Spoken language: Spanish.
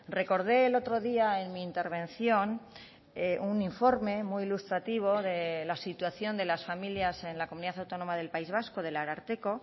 recordé el otro día en mi intervención un informe muy ilustrativo de la situación de las familias en la comunidad autónoma del país vasco del ararteko